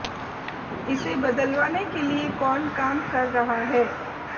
इसे बदलवाने के लिए कौन काम कर रहा है